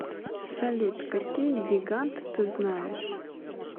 салют какие гигант ты знаешь